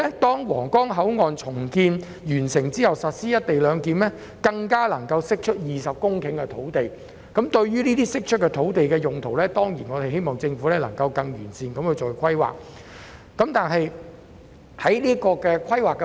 待皇崗口岸重建完成並實施"一地兩檢"後，該處更可釋出20公頃土地。面對這些釋出的土地，我們自然希望政府能夠作出更完善的用途規劃。